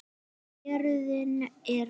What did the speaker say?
Héruðin eru